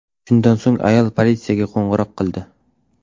Shundan so‘ng ayol politsiyaga qo‘ng‘iroq qildi.